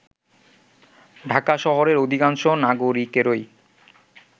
ঢাকা শহরের অধিকাংশ নাগরিকেরই